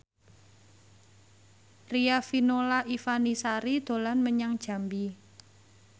Riafinola Ifani Sari dolan menyang Jambi